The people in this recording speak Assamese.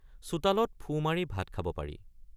চোতালত ফু মাৰি ভাত খাব পাৰি ।